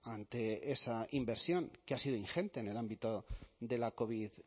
ante esa inversión que ha sido ingente en el ámbito de la covid